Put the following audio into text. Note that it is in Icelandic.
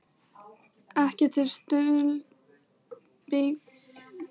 ekki til skuldbindingar um það að greiða starfsmönnum hlutafélagsins laun.